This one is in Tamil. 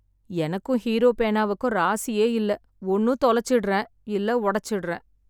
எனக்கும் ஹீரோ பேனாவுக்கும் ராசியே இல்ல. ஒன்னு தொலைச்சிடறேன், இல்ல ஒடைச்சிடறேன்.